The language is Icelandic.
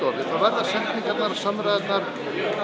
þá verða setningarnar samræðurnar